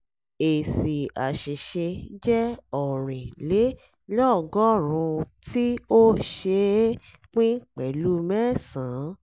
èsì àṣìṣe jẹ́ ọ̀rìn lé lọ́gọ́rùn-úntí ó ṣe é pín pẹ̀lú mẹ́sàn-án.